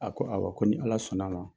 A ko awɔ, ko ni Ala sɔnna ma.